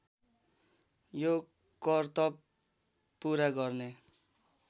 यो करतब पुरा गर्ने